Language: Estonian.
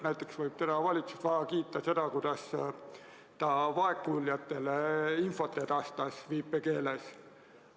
Näiteks võib valitsust kiita selle eest, kuidas ta vaegkuuljatele viipekeeles infot edastas.